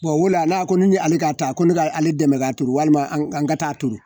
o la a ko ni ale ka ta ko ne ka ale dɛmɛ k'a turu walima an ka taa turu